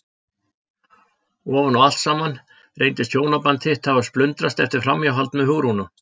Ofan á allt saman reynist hjónaband þitt hafa splundrast eftir framhjáhald með Hugrúnu!